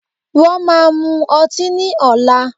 Wọ́n máa mu ọtí ní ọ̀la